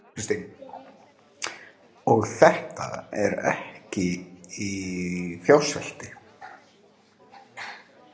Þóra Kristín: Og þetta er ekki í fjársvelti?